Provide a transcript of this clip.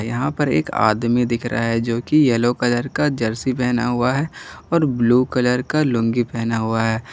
यहां पर एक आदमी दिख रहा है जोकि येलो कलर का जर्सी पहना हुआ है और ब्लू कलर का लुंगी पहना हुआ है।